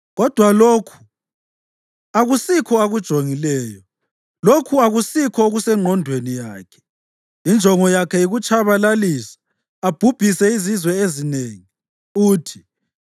Kodwa lokhu akusikho akujongileyo, lokhu akusikho okusengqondweni yakhe; injongo yakhe yikutshabalalisa, abhubhise izizwe ezinengi.